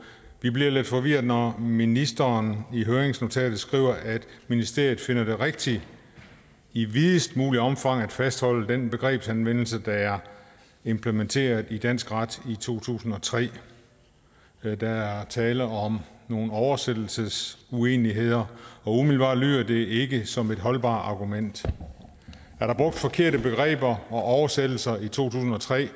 vi bliver lidt forvirrede når ministeren i høringsnotatet skriver at ministeriet finder det rigtigt i videst muligt omfang at fastholde den begrebsanvendelse der er implementeret i dansk ret i to tusind og tre der er tale om nogle oversættelsesuenigheder og umiddelbart lyder det ikke som et holdbart argument er der brugt forkerte begreber og oversættelser i to tusind og tre